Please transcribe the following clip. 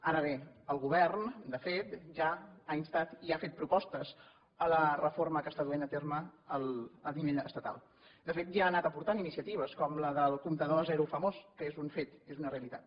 ara bé el govern de fet ja ha instat i ha fet propostes en la reforma que s’està duent a terme a nivell estatal de fet ja ha anat aportant iniciatives com la del comptador a zero famós que és un fet és una realitat